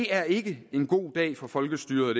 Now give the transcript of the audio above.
er ikke en god dag for folkestyret